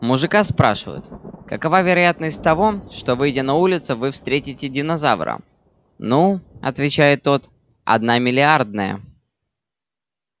мужика спрашивают какова вероятность того что выйдя на улицу вы встретите динозавра ну отвечает тот одна миллиардная